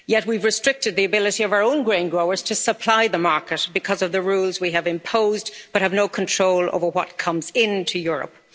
Yet we have restricted the ability of our own grain growers to supply the market because of the rules we have imposed but have no control over what comes into Europe.